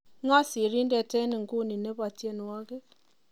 ng'o sirindet enguni nebo tienywogik